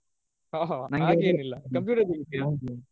ಒಹ್ ಹಾಗೇನಿಲ್ಲ computer ತಗೋತಿಯ ?